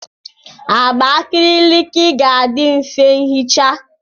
Agba akriliki ga-adị mfe ihicha.